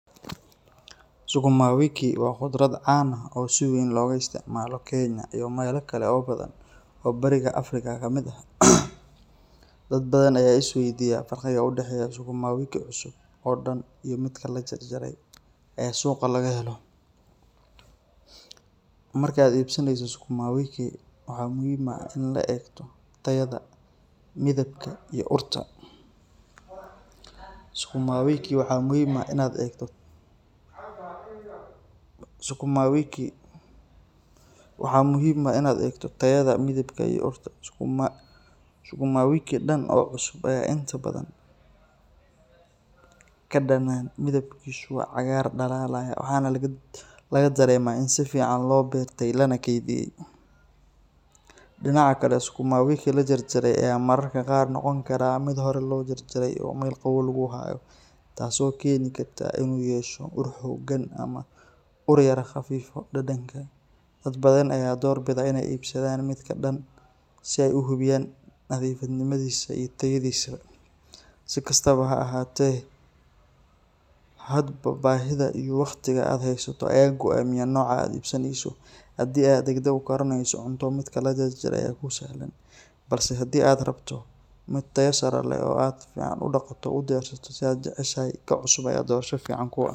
Sukuma wiki waa khudrad caan ah oo si weyn looga isticmaalo Kenya iyo meelo kale oo badan oo Bariga Afrika ka mid ah. Dad badan ayaa is weydiiya farqiga u dhexeeya sukuma wiki cusub oo dhan iyo midka la jarjaray ee suuqa laga helo. Marka aad iibsanayso sukuma wiki, waxaa muhiim ah in aad eegto tayada, midabka, iyo urta. Sukuma wiki dhan oo cusub ayaa inta badan ka dhanaan, midabkiisu waa cagaar dhalaalaya, waxaana laga dareemaa in si fiican loo beertay lana kaydiyay. Dhinaca kale, sukuma wiki la jarjaray ayaa mararka qaar noqon kara mid hore loo jarjaray oo meel qabow lagu hayo, taasoo keeni karta in uu yeesho ur xooggan ama uu yara khafiifiyo dhadhanka. Dad badan ayaa doorbida inay iibsadaan midka dhan si ay u hubiyaan nadiifnimadiisa iyo tayadiisa. Si kastaba ha ahaatee, hadba baahidaada iyo waqtiga aad heysato ayaa go’aaminaya nooca aad iibsaneyso. Haddii aad degdeg u karineyso cunto, midka la jarjaray ayaa kuu sahlan, balse haddii aad rabto mid tayo sare leh oo aad si fiican u dhaqato oo u diyaarsato sida aad jeceshahay, ka cusub ayaa doorasho fiican kuu ah.